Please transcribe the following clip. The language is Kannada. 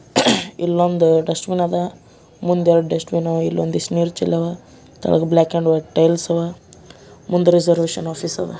ಇಲ್ಲೊಂದು ಡಸ್ಟ್ ಬಿನ್ ಅದ ಮುಂದ್ ಎರಡು ಡಸ್ಟ್ಬಿನ್ ಇಲ್ಲೊಂದ್ ಇಷ್ಟ್ ನೀರ್ ಚೆಲ್ಲಿಯಾವ ಕೆಳಗೆ ಬ್ಲಾಕ್ ಅಂಡ್ ವೈಟ್ ಟೈಲ್ಸ್ ಅವ ಮುಂದ್ ರಿಸರ್ವೇಶನ್ ಆಫೀಸ್ ಇದ.